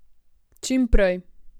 Čim prej.